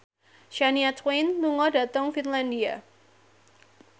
Shania Twain lunga dhateng Finlandia